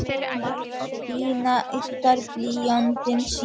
Díana yddar blýantinn sinn.